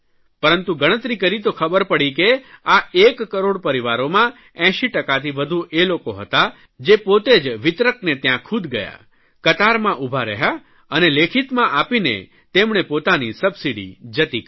પરંતુ ગણતરી કરી તો ખબર પડી કે આ એક કરોડ પરિવારોમાં 80 ટકાથી વધુ એ લોકો હતા જે પોતે વિતરકને ત્યાં ખુદ ગયા કતારમાં ઉભા રહ્યા અને લેખિતમાં આપીને તેમણે પોતાની સબસીડી જતી કરી